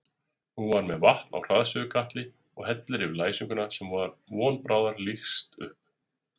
Hún er með vatn á hraðsuðukatli og hellir yfir læsinguna sem von bráðar lýkst upp.